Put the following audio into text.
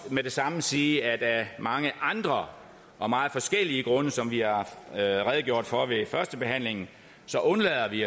med det samme sige at af mange andre og meget forskellige grunde som vi har redegjort for ved førstebehandlingen